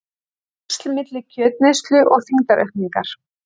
Tengsl milli kjötneyslu og þyngdaraukningar